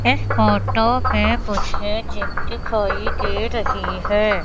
इस फोटो पे मुझे जीप दिखाई दे रही है।